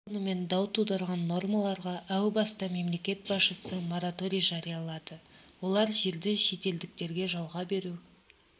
қош сонымен дау тудырған нормаларға әу баста мемлекет басшысы мораторий жариялады олар жерді шетелдіктерге жалға беру